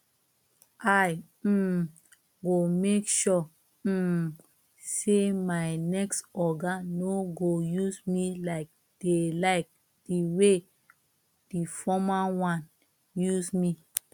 i um go make sure um say my next oga no go use me like the like the way the former one use me